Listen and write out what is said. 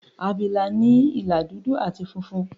Àbìlà ní ìlà dúdú àti funfun.